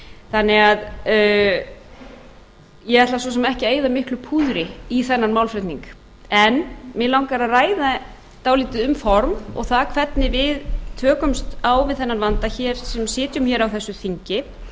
þannig að ég ætla svo sem ekki að eyða miklu púðri í þennan málflutning en mig langar að ræða dálítið um form og það hvernig við tökumst á við þennan vanda hér sem sitjum hér á þessu þingi